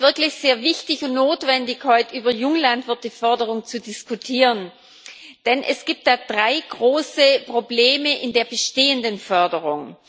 Es ist wirklich sehr wichtig und notwendig, heute über Junglandwirteförderung zu diskutieren, denn es gibt da drei große Probleme in der bestehenden Förderung.